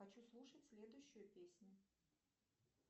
хочу слушать следующую песню